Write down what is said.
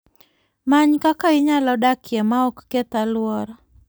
Many kama inyalo dakie ma ok keth alwora.